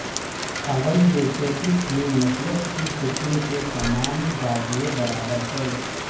اول یہ کہ اس میں مثلث کی قسم کے تمام زاویے برابر ہیں